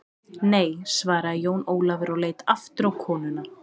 Nei, svaraði Jón Ólafur og leit aftur á konuna.